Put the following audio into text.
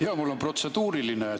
Jaa, mul on protseduuriline.